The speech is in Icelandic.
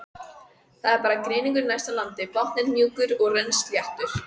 Það voru grynningar næst landi, botninn mjúkur og rennisléttur.